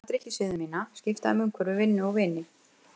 Ég ætlaði að laga drykkjusiði mína, skipta um umhverfi, vinnu og vini.